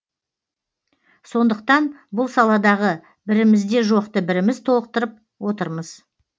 сондықтан бұл саладағы бірімізде жоқты біріміз толықтырып отырмыз